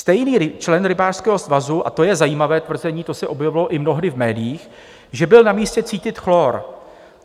Stejný člen rybářského svazu, a to je zajímavé tvrzení, to se objevilo i mnohdy v médiích, že byl na místě cítit chlor.